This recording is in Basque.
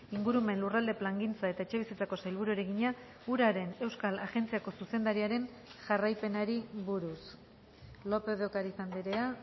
ingurumen lurralde plangintza eta etxebizitzako sailburuari egina uraren euskal agentziako zuzendariaren jarraipenari buruz lópez de ocariz andrea